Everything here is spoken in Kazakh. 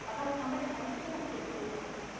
адам қандай халде болу керек ол уақытта